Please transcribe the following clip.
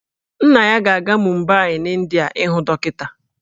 Nna ya ga-aga Mumbai n'India ịhụ dọkịta